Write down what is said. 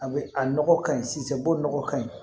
A bɛ a nɔgɔ ka ɲi sisan bo nɔgɔ ka ɲi